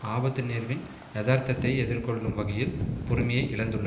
ஆபத்து நேர்வின் எதார்த்தத்தை எதிர்கொள்ளும் வகையில் பொறுமையை இழந்துள்ளது